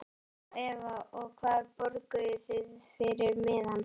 Eva: Og hvað borguðuð þið fyrir miðann?